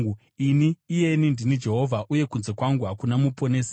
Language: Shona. Ini, iyeni, ndini Jehovha, uye kunze kwangu hakuna muponesi.